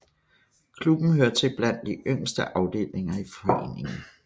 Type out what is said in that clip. Klubben hører til blandt de yngste afdelinger i foreningen